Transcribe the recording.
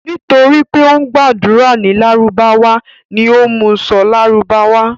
Nítorí pé ó ń gbàdúrà ní lárúbáwá ni ó mú u sọ lárúbáwá.